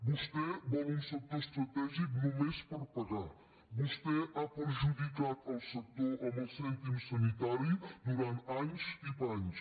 vostè vol un sector estratègic només per pagar vostè ha perjudicat el sector amb el cèntim sanitari durant anys i panys